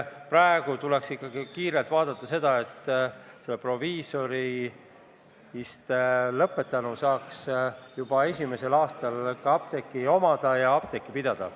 Praegu tuleks ikkagi kiirelt teha nii, et proviisorist lõpetanu saaks juba esimesel aastal apteeki omada ja apteeki pidada.